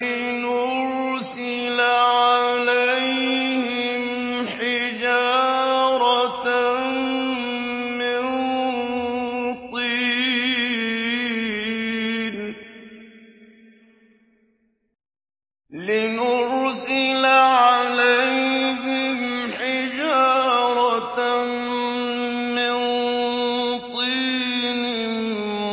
لِنُرْسِلَ عَلَيْهِمْ حِجَارَةً مِّن طِينٍ